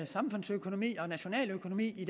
samfundsøkonomi og nationaløkonomi i